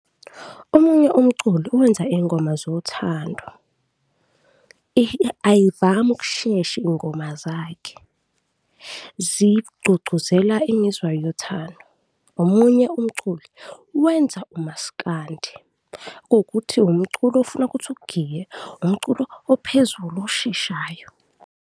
Omunye umculi uwenza iy'ngoma zothando, ayivami ukushesha iy'ngoma zakhe, zigqugquzela imizwa yothando. Omunye umculi wenza umaskandi kuwukuthi umculo ofuna kuthi ugiye, umculo ophezulu osheshayo.